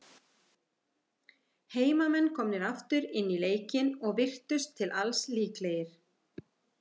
Heimamenn komnir aftur inn í leikinn, og virtust til alls líklegir.